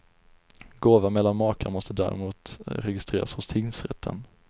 Gåva mellan makar måste däremot registreras hos tingsrätten.